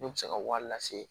Ne bɛ se ka wari lase